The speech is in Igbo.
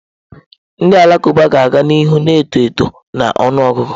Ndị Alakụba ga-aga n'ihu na-eto eto na ọnụ ọgụgụ.